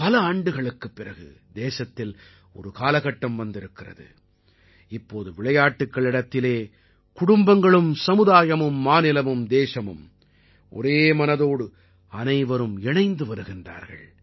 பல ஆண்டுகளுக்குப் பிறகு தேசத்தில் ஒரு காலகட்டம் வந்திருக்கிறது இப்போது விளையாட்டுக்களிடத்திலே குடும்பங்களும் சமுதாயமும் மாநிலமும் தேசமும் ஒரே மனதோடு அனைவரும் இணைந்து வருகிறார்கள்